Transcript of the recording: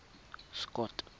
scott